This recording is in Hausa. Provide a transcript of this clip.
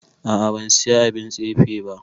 A'a ban Siya abin tsefe ba.